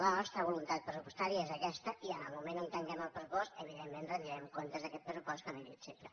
la nostra voluntat pressupostària és aquesta i en el moment que tanquem el pressupost evidentment retrem comptes d’aquest pressupost com he dit sempre